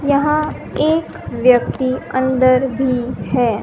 यहां एक व्यक्ति अंदर भी है।